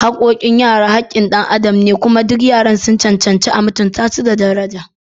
Haqqoqin ‘ya’ya haqqin xan adam ne, kuma duk yaran sun cancanci a mutunta su da daraja.